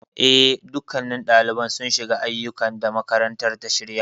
Eh, dukkannin ɗaliban sun shiga aiyukan da makarantar ta shirya.